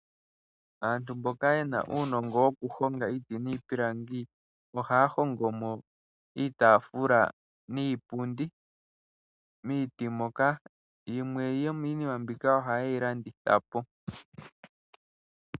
Aantu mboka ye na uunongo wokuhonga iiti niipilangi ohaya hongo mo iitaafula niipundi. Yimwe yomiinima mbika ohaye yi landitha po.